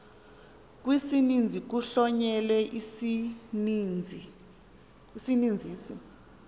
kwisininzi kuhlonyelwe isininzisi